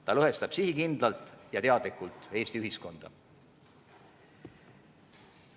Ta lõhestab sihikindlalt ja teadlikult Eesti ühiskonda.